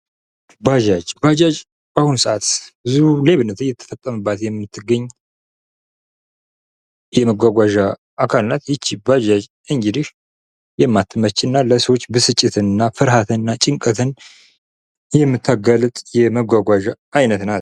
ባጃጅ በአሁኑ ሰዓት ብዙ ሌብነት ላይ እየተጠቀምንባት የምትገኝ የመጓጓዣ አካል ናት። ይህቺ ባጃጅ እንግዲህ የማትመች እና ለሰዎች ብስጭትን እና ፍርሃትን እና ጭንቀትን የምታጋለጥ የመጓጓዣ አይነት ናት።